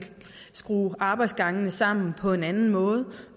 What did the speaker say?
skrue arbejdsgangene sammen på en anden måde